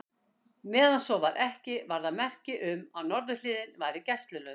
Meðan svo var ekki, var það merki um, að norðurhliðið væri gæslulaust.